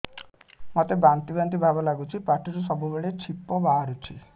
ମୋତେ ବାନ୍ତି ବାନ୍ତି ଭାବ ଲାଗୁଚି ପାଟିରୁ ସବୁ ବେଳେ ଛିପ ବାହାରୁଛି